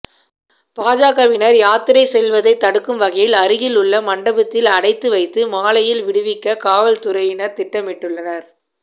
பாஜகவினர் யாத்திரை செல்வதைத் தடுக்கும் வகையில் அருகில் உள்ள மண்டபத்தில் அடைத்து வைத்து மாலையில் விடுவிக்க காவல்துறையினர் திட்டமிட்டுள்ளனர்